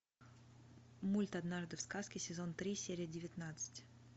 мульт однажды в сказке сезон три серия девятнадцать